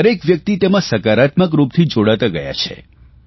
દરેક વ્યકિત તેમાં સકારાત્મક રૂપથી જોડાતા ગયા છે